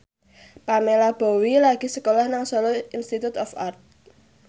Pamela Bowie lagi sekolah nang Solo Institute of Art